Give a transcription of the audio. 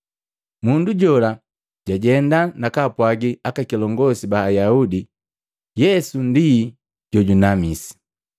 Mundu jola jajenda nakapwaji aka kilongosi ba Ayaudi Yesu ndi jojunamisi.